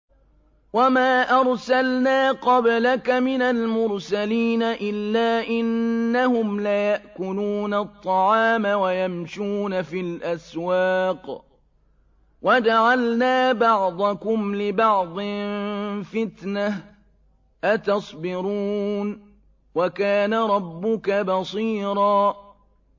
وَمَا أَرْسَلْنَا قَبْلَكَ مِنَ الْمُرْسَلِينَ إِلَّا إِنَّهُمْ لَيَأْكُلُونَ الطَّعَامَ وَيَمْشُونَ فِي الْأَسْوَاقِ ۗ وَجَعَلْنَا بَعْضَكُمْ لِبَعْضٍ فِتْنَةً أَتَصْبِرُونَ ۗ وَكَانَ رَبُّكَ بَصِيرًا